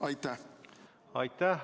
Aitäh!